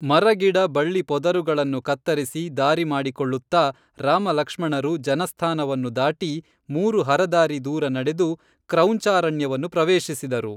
ಮರಗಿಡ ಬಳ್ಳಿ ಪೊದರುಗಳನ್ನು ಕತ್ತರಿಸಿ ದಾರಿ ಮಾಡಿಕೊಳ್ಳುತ್ತಾ ರಾಮಲಕ್ಷ್ಮಣರು ಜನಸ್ಥಾನವನ್ನು ದಾಟಿ ಮೂರು ಹರದಾರಿ ದೂರ ನಡೆದು ಕ್ರೌಂಚಾರಣ್ಯವನ್ನು ಪ್ರವೇಶಿಸಿದರು